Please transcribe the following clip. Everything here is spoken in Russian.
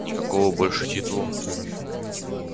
никакого большого титула